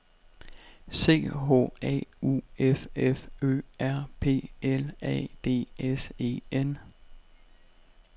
C H A U F F Ø R P L A D S E N